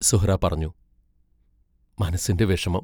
സുഹ്റാ പറഞ്ഞു: മനസ്സിന്റെ വിഷമം.